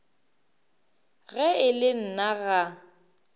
ge e le nna ga